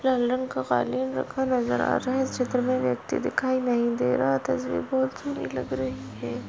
लाल रंग का कालीन रखा नजर आ रहा है इस चित्र में व्यक्ति दिखाई नहीं दे रहा तस्वीर बहुत प्यारी लग रही है।